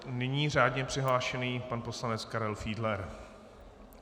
Nyní řádně přihlášený pan poslanec Karel Fiedler.